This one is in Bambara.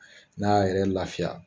N'a y'a yɛrɛ lafiya